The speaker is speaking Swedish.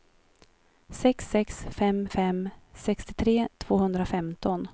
sex sex fem fem sextiotre tvåhundrafemton